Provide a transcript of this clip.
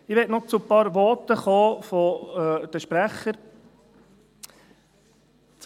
Ich möchte noch zu einigen Voten der Sprecher kommen.